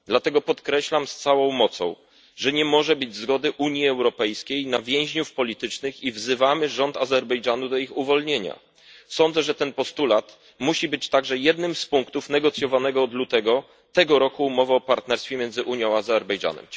Dlatego podkreślam z całą mocą, że nie może być zgody Unii Europejskiej na więźniów politycznych, i wzywamy rząd Azerbejdżanu do ich uwolnienia. Sądzę, że postulat ten musi być także jednym z punktów negocjowanej od lutego tego roku umowy o partnerstwie między Unią a Azerbejdżanem.